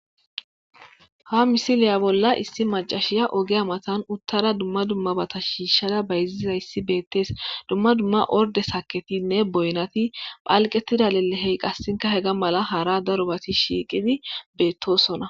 Ha misiliya bolla issi macashiya oge amatan uttara dumma dummabata shiishshada bayziza issi beettees dumma dumma orde saketinne boynati phalqetida lelehey qassinka hega mala hara daro bati shiiqidi beettosona.